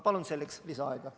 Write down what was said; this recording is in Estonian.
Palun selleks lisaaega!